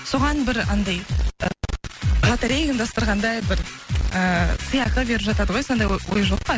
соған бір анандай лотерея ұйымдастырғандай бір ыыы сыйақы беріп жатады ғой сондай ой жоқ па